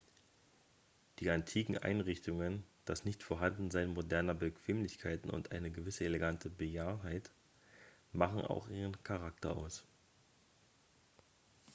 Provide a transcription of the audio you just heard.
die antiken einrichtungen das nichtvorhandensein moderner bequemlichkeiten und eine gewisse elegante bejahrtheit machen auch ihren charakter aus